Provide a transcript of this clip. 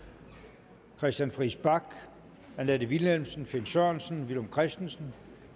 christian friis bach annette vilhelmsen finn sørensen villum christensen